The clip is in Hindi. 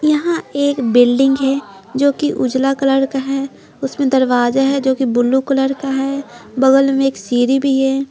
यहां एक बिल्डिंग हैजो कि उजला कलर का है उसमें दरवाजा हैजो कि ब्लू कलर का है बगल में एक सीरी भी है।